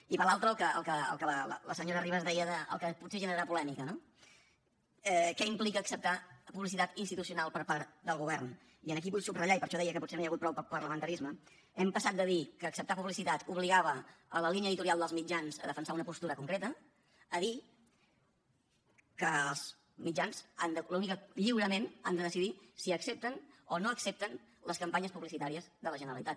i per l’altra el que la senyora ribas deia que potser generarà polèmica no què implica acceptar publicitat institucional per part del govern i aquí vull subratllar i per això deia que potser no hi ha hagut prou parlamentarisme que hem passat de dir que acceptar publicitat obligava la línia editorial dels mitjans a defensar una postura concreta a dir que els mitjans lliurement han de decidir si accepten o no accepten les campanyes publicitàries de la generalitat